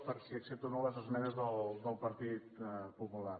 per si accepto o no les esmenes del partit popular